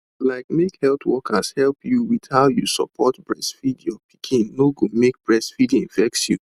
like make health workers help you with how you support breastfeed your pikin no go make breastfeeding vex you